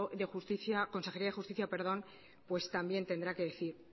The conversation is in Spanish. de justicia consejería de justicia pues también tendrá que decir